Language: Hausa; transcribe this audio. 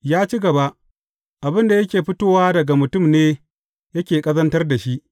Ya ci gaba, Abin da yake fitowa daga mutum ne yake ƙazantar da shi.